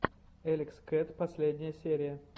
элекс кэт последняя серия